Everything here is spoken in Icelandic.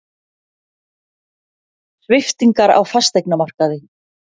Sviptingar á fasteignamarkaði